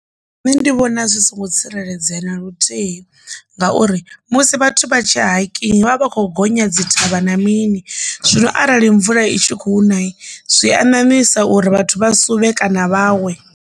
Nṋe ndi vhona zwi songo tsireledzea na luthihi ngauri musi vhathu vha tshi hiking vha vha tshi kho gonya dzi thavha na mini zwino arali mvula i tshi khou na zwi a nyamisa uri vhathu vha suvhe kana vha we.